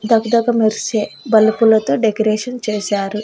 ధగ ధగ మెరిసే బల్బ్ లతో డెకరేషన్ చేశారు.